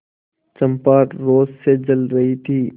चंपा रोष से जल रही थी